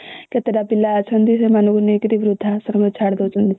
କେତେଟା ପିଲା ଅଛନ୍ତି ସେମାନଙ୍କୁ ନେଇକିନା ଵୃଦ୍ଧାଶ୍ରମ ରେ ଛାଡି ଦଉଛନ୍ତି